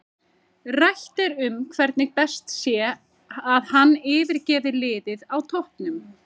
Rætt er um hvernig best sé að hann yfirgefi liðið á toppnum.